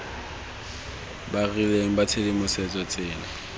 ba rileng ba tshedimosetso tsela